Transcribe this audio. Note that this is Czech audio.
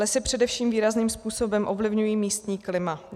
Lesy především výrazným způsobem ovlivňují místní klima.